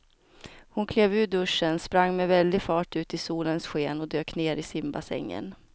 Hon klev ur duschen, sprang med väldig fart ut i solens sken och dök ner i simbassängen.